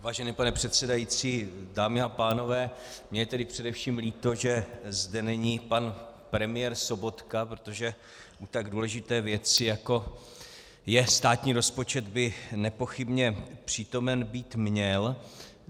Vážený pane předsedající, dámy a pánové, mně je tedy především líto, že zde není pan premiér Sobotka, protože u tak důležité věci, jako je státní rozpočet, by nepochybně přítomen být měl.